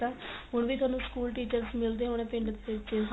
ਤਾਂ ਹੁਣ ਵੀ ਤੁਹਾਨੂੰ school teachers ਮਿਲਦੇ ਹੋਣੇ ਪਿੰਡ